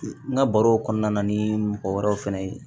N ka baro kɔnɔna na ni mɔgɔ wɛrɛw fɛnɛ ye